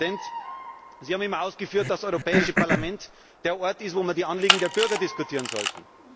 Herr Präsident, Sie haben immer ausgeführt, dass das Europäische Parlament der Ort ist, wo man die Anliegen der Bürger diskutieren sollte.